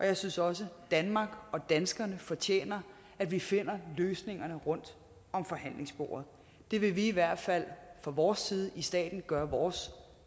jeg synes også at danmark og danskerne fortjener at vi finder løsningerne rundt om forhandlingsbordet det vil vi i hvert fald fra vores side i staten gøre vores